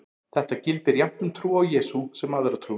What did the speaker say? Þetta gildir jafnt um trú á Jesú sem aðra trú.